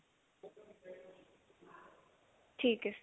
ਠੀਕ ਹੈ